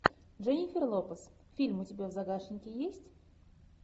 дженнифер лопес фильм у тебя в загашнике есть